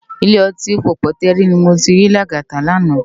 Ilé òtín Pópótèrí ni mó ti ri Lagata làná